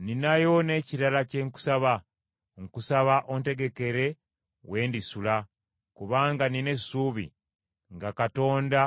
Nninayo n’ekirala kye nkusaba; nkusaba ontegekere we ndisula, kubanga nnina essuubi, nga Katonda